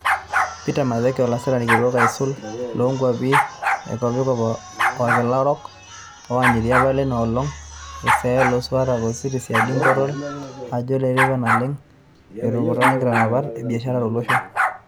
Peter Mathuke, Olasirani kitok aisul, loonkuapi ekopikop olkila orok aa olaanyiti apa leina olong eisisa laisotuak ooti tesiadi empotol ejoo letipa naleng eitudupaa nkitanapat ebiashara tolosho.